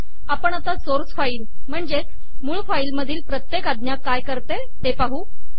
आपण आता source file मधील प्रत्येक आज्ञा काय करते ते पाहू